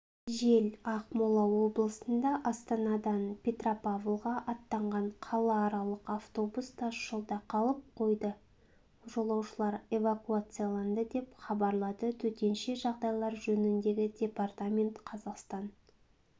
жел ақмола облысында астанадан петропавлға аттанған қалааралық автобус тас жолда қалып қойды жолаушылар эвакуацияланды деп хабарлады төтенше жағдайлар жөніндегі департамент қазақстан